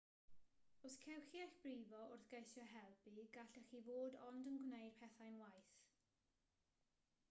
os cewch chi eich brifo wrth geisio helpu gallech chi fod ond yn gwneud pethau'n waeth